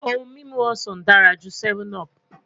Ohun mimu osan dara ju 7up